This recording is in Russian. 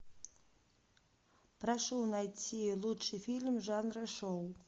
прошу найти лучший фильм жанра шоу